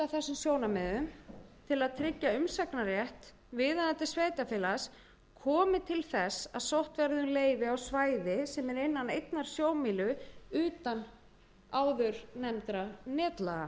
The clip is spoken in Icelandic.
sjónarmiðum til að tryggja umsagnarrétt viðeigandi sveitarfélags komi til þess að sótt verði um leyfi á svæði sem er innan einnar sjómílu utan áðurnefndra netlaga